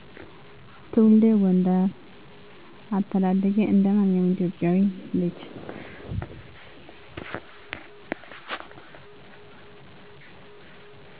ትውልዴ ጎንደር አተዳደጌ እንደማንኛውም ኢትዮጵያዊ ልጅ